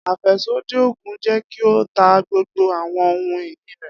Afẹsodi oogun jẹ ki o ta gbogbo awọn ohun-ini rẹ.